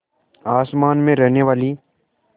आसमान में रहने वाली